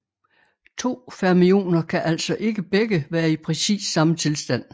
To fermioner kan altså ikke begge være i præcis samme tilstand